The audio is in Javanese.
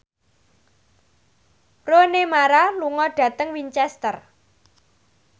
Rooney Mara lunga dhateng Winchester